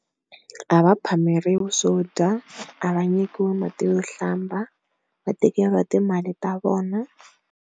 A va phameriwa swo dya, a va nyikiwi mati yo hlamba, va tekeriwa timali ta vona.